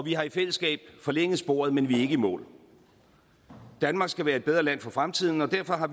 vi har i fællesskab forlænget sporet men vi er ikke i mål danmark skal være et bedre land for fremtiden og derfor har